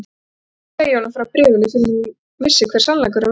Hún vildi ekki segja honum frá bréfinu fyrr en hún vissi hver sannleikurinn væri.